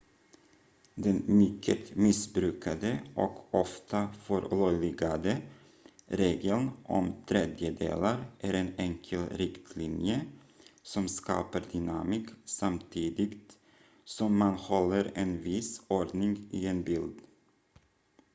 den mycket missbrukade och ofta förlöjligade regeln om tredjedelar är en enkel riktlinje som skapar dynamik samtidigt som man håller en viss ordning i en bild